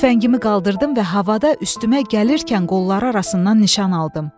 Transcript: Tüfəngimi qaldırdım və havada üstümə gəlirkən qolları arasından nişan aldım.